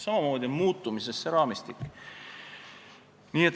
Samamoodi on muutumises see raamistik.